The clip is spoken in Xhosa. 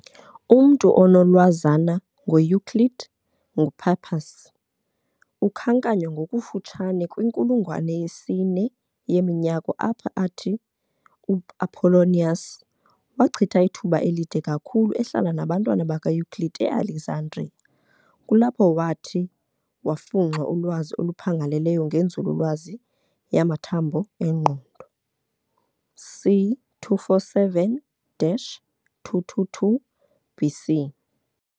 Umntu onolwazana ngoEuclid, nguPappus, ukhankanywa ngokufutshane kwinkulungwane yesine yeminyaka apho athi uApollonius "wachitha ithuba elide kakhulu ehlala nabantwana bakaEuclid eAlexandria, kulapho wathi wafunxa ulwazi oluphangaleleyo ngenzululwazi yamathambo engqondo" c. 247-222 BC.